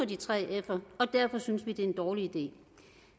de tre fer og derfor synes vi det er en dårlig idé